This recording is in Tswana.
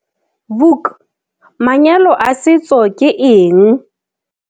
Vuk, manyalo a setso ke eng?